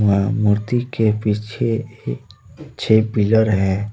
वहां मूर्ति के पीछे छह पिलर हैं।